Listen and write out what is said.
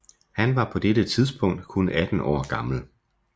Han var på det tidspunkt kun 18 år gammel